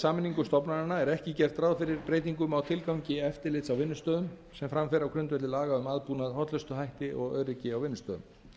sameiningu stofnananna er ekki gert ráð fyrir breytingum á tilgangi eftirlits á vinnustöðum sem fram fer á grundvelli laga um aðbúnað hollustuhætti og öryggi á vinnustöðum